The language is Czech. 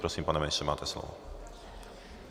Prosím, pane ministře, máte slovo.